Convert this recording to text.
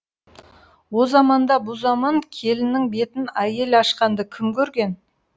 о заманда бұ заман келіннің бетін әйел ашқанды кім көрген